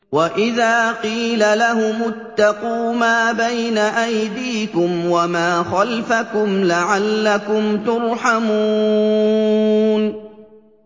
وَإِذَا قِيلَ لَهُمُ اتَّقُوا مَا بَيْنَ أَيْدِيكُمْ وَمَا خَلْفَكُمْ لَعَلَّكُمْ تُرْحَمُونَ